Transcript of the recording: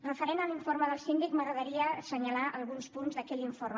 referent a l’informe del síndic m’agradaria assenyalar alguns punts d’aquell informe